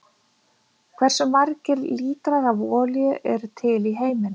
Hversu margir lítrar af olíu eru til í heiminum?